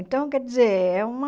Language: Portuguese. Então, quer dizer, é uma...